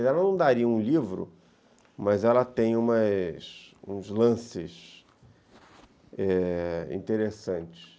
Ela não daria um livro, mas ela tem umas uns lances interessantes.